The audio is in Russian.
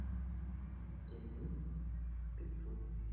денис петух